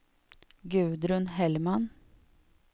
Gudrun Hellman